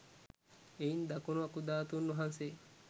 එයින් දකුණු අකුධාතුන් වහන්සේ